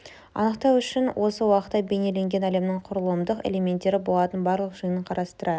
анықтау үшін осы уақытта бейнеленген әлемнің құрылымдық элементтері болатын барлық жиынын қарастырайық